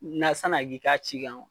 Na sana k'i k'a ci kanw